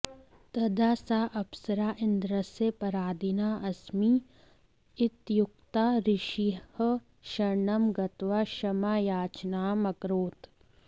तदा सा अप्सरा इन्द्रस्य पराधीना अस्मि इत्युक्त्वा ऋषेः शरणं गत्वा क्षमायाचनाम् अकरोत्